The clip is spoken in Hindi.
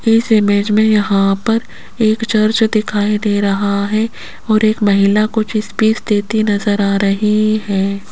इस इमेज मे यहां पर एक चर्च दिखाई दे रहा है और एक महिला कुछ स्पीच देती नजर आ रही है।